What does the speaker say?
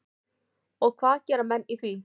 Og hvað gera menn í því?